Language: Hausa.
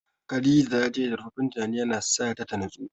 Khadija ta ce zurfaffen tunanin ya na sa ta natsuwa